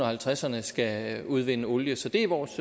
halvtredserne skal udvinde olie så det er vores